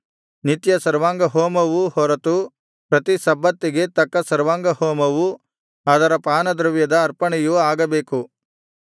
ನಿತ್ಯ ಸರ್ವಾಂಗಹೋಮವು ಹೊರತು ಪ್ರತಿ ಸಬ್ಬತ್ತಿಗೆ ತಕ್ಕ ಸರ್ವಾಂಗಹೋಮವು ಅದರ ಪಾನದ್ರವ್ಯದ ಅರ್ಪಣೆಯೂ ಆಗಬೇಕು